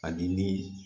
Ani ni